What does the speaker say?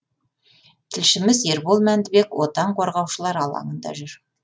тілшіміз ербол мәндібек отан қорғаушылар алаңында жүр